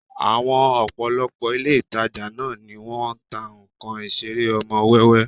Àwọn ọ̀pọ̀lọpọ̀ ilé ìtajà ńlá ni wọ́n ń ta nnkan Ìṣeré ọmọ wẹ́wẹ́